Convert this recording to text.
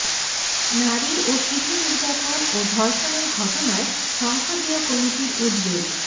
নারী ও শিশু নির্যাতন ও ধর্ষণের ঘটনায় সংসদীয় কমিটির উদ্বেগ